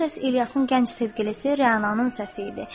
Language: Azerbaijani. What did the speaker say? O səs İlyasın gənc sevgilisi Rəananın səsi idi.